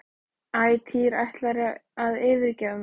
Æ, Týri ætlarðu að yfirgefa mig?